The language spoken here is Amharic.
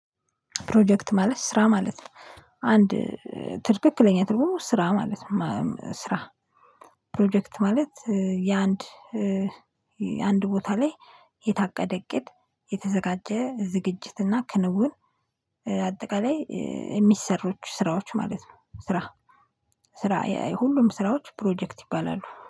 ፕሮጀክት ማለት ስራ ማለት ነው። አንድ ትክክለኛ ትልቁ ስራ ማለት ነው ስራ ፕሮጀክት ማለት የአንድ የአንድ ቦታ ላይ የታቀደ እቅድ የተዘጋጀ ዝግጅትና ክንውን አጠቃላይ የሚሰሩት ስራዎች ማለት ነው ስራ ስራ የሁሉም ስራዎች ፕሮጀክት ይባላሉ።